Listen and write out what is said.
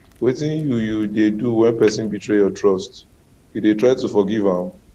wetin you you dey do when person betray your trust you dey try to forgive am